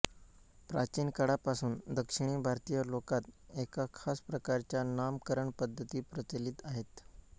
प्राचीन काळापासून दक्षिणी भारतीय लोकांत एका खास प्रकारच्या नामकरण पद्धती प्रचलित आहेत